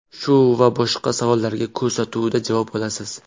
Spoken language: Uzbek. Shu va boshqa savollarga ko‘rsatuvda javob olasiz.